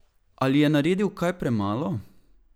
Ali je naredil kaj premalo?